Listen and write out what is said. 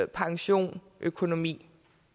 pension og økonomi